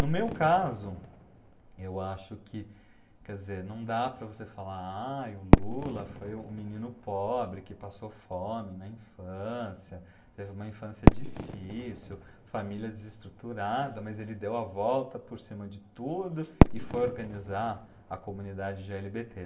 No meu caso, eu acho que, quer dizer, não dá para você falar, aí, o Lula foi um menino pobre que passou fome na infância, teve uma infância difícil, família desestruturada, mas ele deu a volta por cima de tudo e foi organizar a comunidade gê ele bê tê.